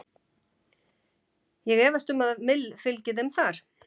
Ég efast um að Mill fylgi þeim þar.